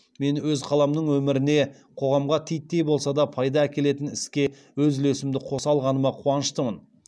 мен өз қаламның өміріне қоғамға титтей болса да пайда әкелетін іске өз үлесімді қоса алғаныма қуаныштымын